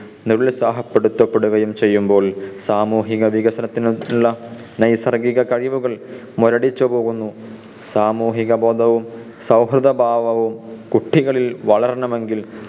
നിരുത്സാഹപ്പെടുത്തപ്പെടുകയും ചെയ്യുമ്പോൾ സാമൂഹിക വികസനത്തിനുള്ള നൈസർഗിക കഴിവുകൾ മുരടിച്ചു പോവുന്നു. സാമൂഹിക ബോധവും സൗഹൃദ ഭാവവും കുട്ടികളിൽ വളരണമെങ്കിൽ